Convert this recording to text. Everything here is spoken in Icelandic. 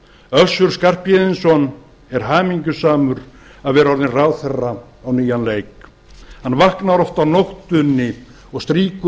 össur skarphéðinsson er hamingjusamur með að vera orðinn ráðherra á nýjan leik hann vaknar oft á nóttunni og strýkur